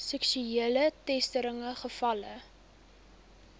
seksuele teistering gevalle